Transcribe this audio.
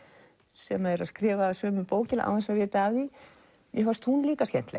sem eru að skrifa sömu bókina án þess að vita af því mér fannst hún líka skemmtileg